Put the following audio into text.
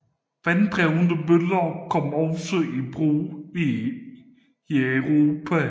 Vanddrevne møller kom også i brug i Europa